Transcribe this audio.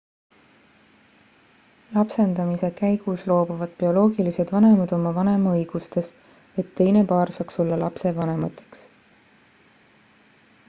lapsendamise käigus loobuvad bioloogilised vanemad oma vanemaõigustest et teine paar saaks olla lapse vanemateks